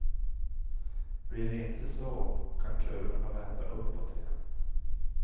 Blir det inte så, kan kurvorna vända uppåt igen.